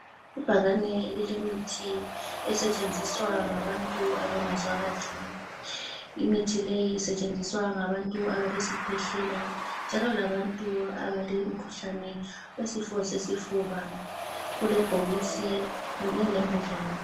Ibhakane elilemithi esetshenziswa ngabantu abangezwa kahle. Imithi leyi isetshenziswe ngabantu abalesikhwehlela, njalo labantu abakemkhuhlane yesifo sesifuba. Kulebhokisi kanye lembodlela.